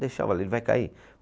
Deixava ele, ele vai cair.